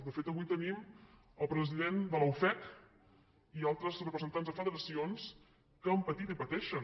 de fet avui tenim el president de la ufec i altres representants de federacions que han patit i pateixen